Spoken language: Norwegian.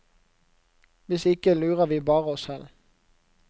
Hvis ikke lurer vi bare oss selv.